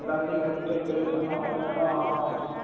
எல்லாதையும் கூடுதுட்டு பேருசு ஒன்னு ரெண்டு என்னம் வாங்கானும்